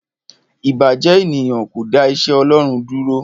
Ìbàjẹ́ ènìyàn kò le dá iṣẹ́ Ọlọ́run dúró.